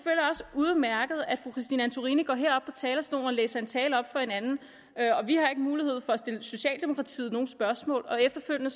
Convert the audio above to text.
udmærket at fru christine antorini går herop på talerstolen og læser en tale op for en anden vi har ikke mulighed for at stille socialdemokratiet nogen spørgsmål og efterfølgende